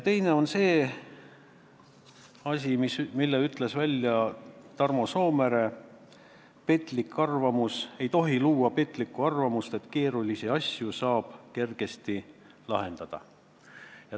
Teine on see lause, mille ütles Tarmo Soomere: ei tohi luua petlikku arvamust, et keerulisi asju saab kergesti lahendada.